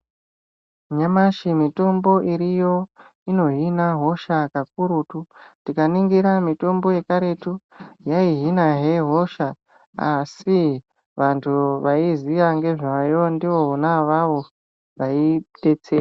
Nyamashe mitombo iriyo inohhina hosha kakurutu. Tikaningira mitombo yekaretu yayihhinahhe hosha. Asi, vantu vayiziya ngezvayo ndivona vavo vayidetsera.